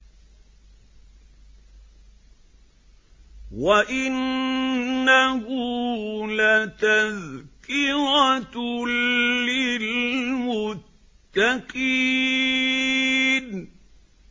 وَإِنَّهُ لَتَذْكِرَةٌ لِّلْمُتَّقِينَ